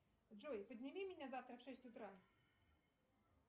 джой подними меня завтра в шесть утра